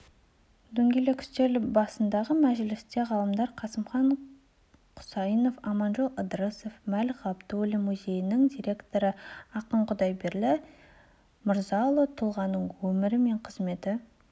дөңгелек үстел басындағы мәжілісте ғалымдар қасымхан құсайынов аманжол ыдырысов мәлік ғабдуллин музейінің директоры ақын құдайберлі мырзабек ұлы тұлғаның өмірі мен қызметі